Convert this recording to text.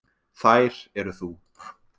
Þær eru þú.